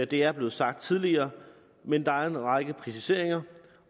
det er blevet sagt tidligere men der er en række præciseringer